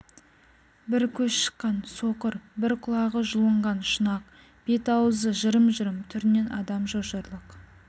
бір көз шыққан соқыр бір құлағы жұлынған шұнақ бет-аузы жырым-жырым түрінен адам шошырлық